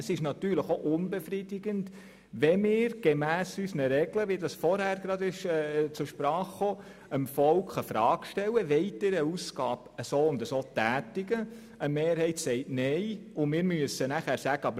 Es ist unbefriedigend, wenn wir dem Volk gemäss unseren Regeln die Frage stellen, ob es eine bestimmte Ausgabe tätigen will, eine Mehrheit nein sagt, und wir danach sagen müssen: